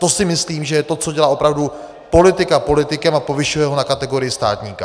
To si myslím, že je to, co dělá opravdu politika politikem a povyšuje ho na kategorii státníka.